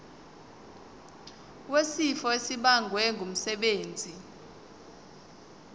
wesifo esibagwe ngumsebenzi